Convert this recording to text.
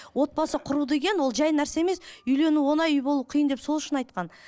отбасы құру деген ол жай нәрсе емес үйлену оңай үй болу қиын деп сол үшін айтқан